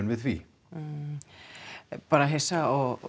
við því bara hissa og